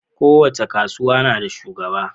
kowace kasuwa nada shugaba